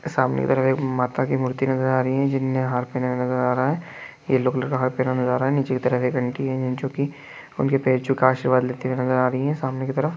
सामने कि तरफ एक माता कि मूर्ति नज़र आ रही है जिन्होंने हार पहना हुआ नज़र आ रहा है ये लोग हार पहनाने जा रहे है निचे की तरफ एक आंटी है जो कि उनके पैर छू के आशीर्वाद लेती नज़र आ रही है सामने की तरफ--